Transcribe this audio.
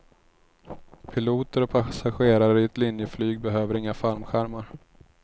Piloter och passagerare i ett linjeflyg behöver inga fallskärmar.